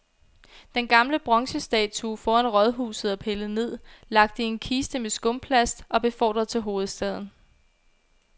Den gamle bronzestatue foran rådhuset er pillet ned, lagt i en kiste med skumplast og befordret til hovedstaden.